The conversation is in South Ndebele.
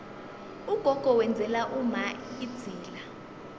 ugogo wenzela umma idzila